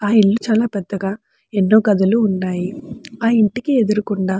ఆ ఇల్లు చాలా పెద్దగా ఎన్నో గదులు ఉన్నాయి. ఆ ఇంటికి ఎదురు గుండ --